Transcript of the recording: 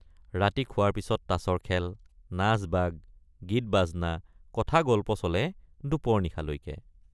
ৰাতি খোৱাৰ পিচত তাচৰ খেল নাচবাগ গীতবাজনা কথাগল্প চলে দুপৰ নিশালৈকে।